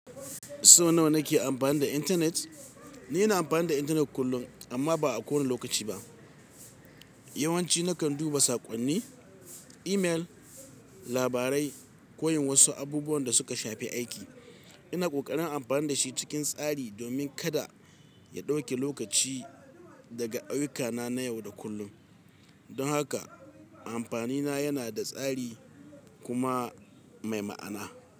So nawa na ke amfani da intanet? Ni na amfani da intanet kullum amma ba a kowane lokaci ba. Yawanci nakan duba saƙonni, imel, labarai ko yin wasu abubuwan da suka shafi aiki. Ina ƙoƙarin amfani da shi cikin tsari domin kada ya ɗauke lokaci daga ayyukana na yau da kullum. Don haka amfani na yana da tsari kuma mai ma'ana.